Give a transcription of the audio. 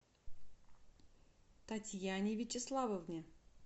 татьяне вячеславовне